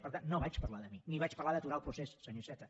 per tant no vaig parlar de mi ni vaig parlar d’aturar el procés senyor iceta